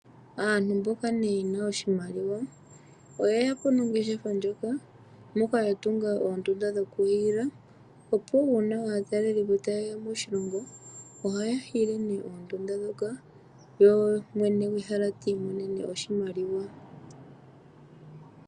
Aantu mboka ye na oshimaliwa oye ya po nongeshefa ndjoka, moka yatunga oondunda dhokuhiila, opo uuna aatalelipo taye ya moshilongo ohaya hiile nee oondunda ndhoka ye mwene gwehala ti imonene oshimaliwa.